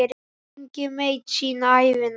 Enginn veit sína ævina.